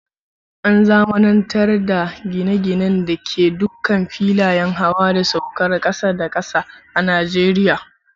An zamanantar da gine-ginen da ke dukkan filayen hawa da saukar jirajen kasa da kasa a Najeriya.